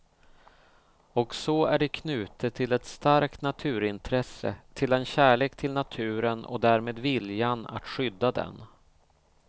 Och så är det knutet till ett starkt naturintresse, till en kärlek till naturen och därmed viljan att skydda den.